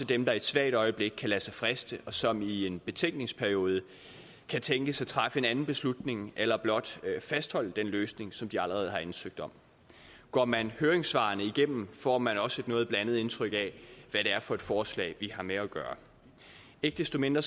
dem der i et svagt øjeblik kan lade sig friste og som i en betænkningsperiode kan tænkes at træffe en anden beslutning eller blot fastholde den løsning som de allerede har ansøgt om går man høringssvarene igennem får man også et noget blandet indtryk af hvad det er for et forslag vi har med at gøre ikke desto mindre